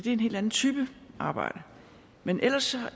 er en helt anden type arbejde men ellers